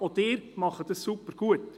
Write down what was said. Auch Sie machen es sehr gut.